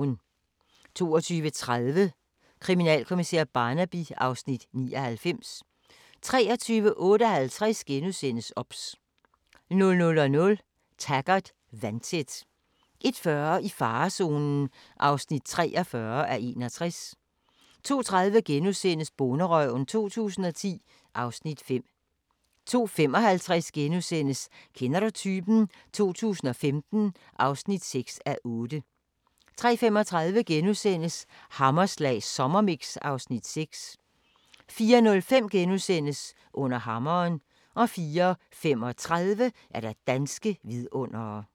22:30: Kriminalkommissær Barnaby (Afs. 99) 23:58: OBS * 00:00: Taggart: Vandtæt 01:40: I farezonen (43:61) 02:30: Bonderøven 2010 (Afs. 5)* 02:55: Kender du typen? 2015 (6:8)* 03:35: Hammerslag Sommermix (Afs. 6)* 04:05: Under hammeren * 04:35: Danske vidundere